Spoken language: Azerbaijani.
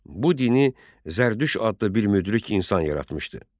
Bu dini Zərdüşt adlı bir müdrik insan yaratmışdı.